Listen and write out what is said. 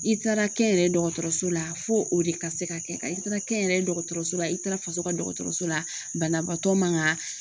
I taara kɛnyɛrɛ ye dɔgɔtɔrɔso la fo o de ka se ka kɛ i taara kɛnyɛrɛye dɔgɔtɔrɔso la i taara faso ka dɔgɔtɔrɔso la banabagatɔ ma ga.